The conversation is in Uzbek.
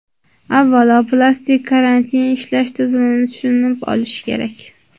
Avvalo, plastik kartaning ishlash tizimini tushunib olish kerak.